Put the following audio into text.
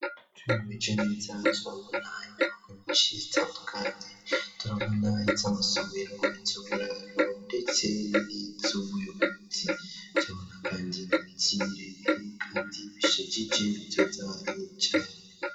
Tubiruejo n'ibizazu babona inyubako nyinshi zitandukanye turabona izo amasubiro iz uburaro ndete n'ioubuyubuzi zabona, kandi ii biremire, kandi bishijije bityo za icane.